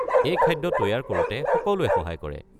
এই খাদ্য তৈয়াৰ কৰোঁতে সকলোৱে সহায় কৰে।